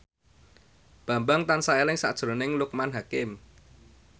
Bambang tansah eling sakjroning Loekman Hakim